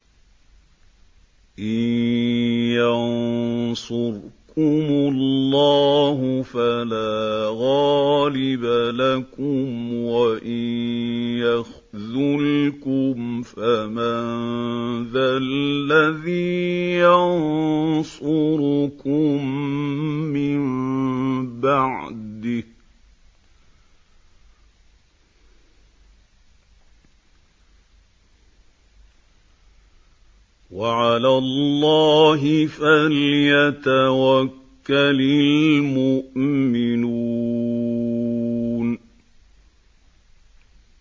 إِن يَنصُرْكُمُ اللَّهُ فَلَا غَالِبَ لَكُمْ ۖ وَإِن يَخْذُلْكُمْ فَمَن ذَا الَّذِي يَنصُرُكُم مِّن بَعْدِهِ ۗ وَعَلَى اللَّهِ فَلْيَتَوَكَّلِ الْمُؤْمِنُونَ